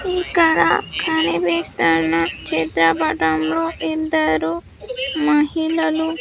ఇక్కడ కనిపిస్తున్న చిత్రపటంలో ఇద్దరూ మహిళలు --